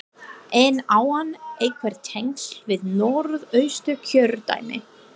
En á hann einhver tengsl við Norðausturkjördæmi?